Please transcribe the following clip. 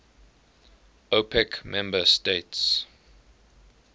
opec member states